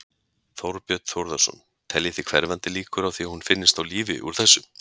Þorbjörn Þórðarson: Teljið þið hverfandi líkur á því að hún finnist á lífi úr þessu?